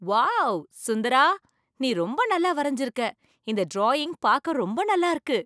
Wow! சுந்தரா! நீ ரொம்ப நல்லா வரைஞ்சு இருக்க! இந்த டிராயிங் பார்க்க ரொம்ப நல்லா இருக்கு.